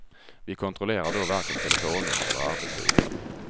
Vi kontrollerar då varken telefonnummer eller arbetsgivare.